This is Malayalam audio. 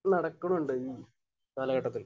നടുക്കുന്നുണ്ട്. ഈ കാലഘട്ടത്തിൽ.